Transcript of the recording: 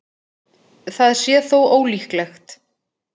Það sé þó ólíklegt